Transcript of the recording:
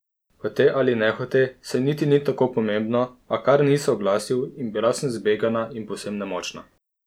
Hote ali nehote, saj niti ni tako pomembno, a kar ni se oglasil in bila sem zbegana in povsem nemočna.